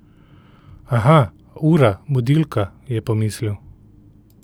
Aha, ura, budilka, je pomislil.